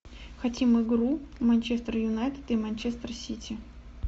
хотим игру манчестер юнайтед и манчестер сити